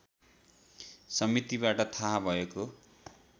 समितिबाट थाहा भएको